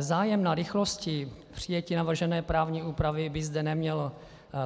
Zájem na rychlosti přijetí navržené právní úpravy by zde neměl